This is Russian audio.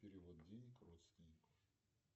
перевод денег родственнику